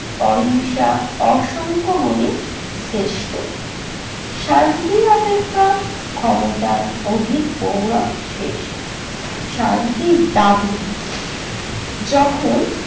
অহিংসা অসংখ্য গুণে শ্রেষ্ঠ। শান্তির অপেক্ষা ক্ষমতার অধিক শেষ। শান্তির দাবি যখন